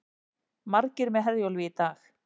Margir með Herjólfi í dag